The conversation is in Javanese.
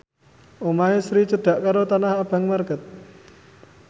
omahe Sri cedhak karo Tanah Abang market